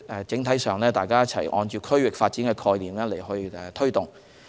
整體上，大家是按區域發展的概念去推動。